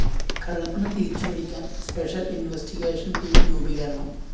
കള്ളപ്പണം തിരിച്ചുപിടിക്കാന്‍ special investigation team രൂപീകരണം